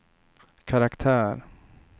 karaktär